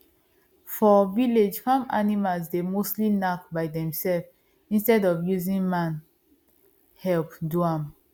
for village farm animals dey mostly knack by themselves instead of using man help do am